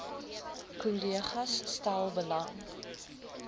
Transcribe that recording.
kollegas stel belang